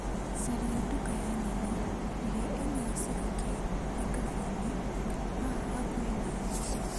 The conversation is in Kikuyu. Caria nduka ya nyeni ĩrĩa ĩna gĩcigo kĩa Kĩkaboĩnĩ haha hakuhĩ na niĩ.